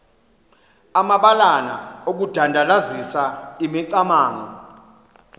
amabalana okudandalazisa imicamango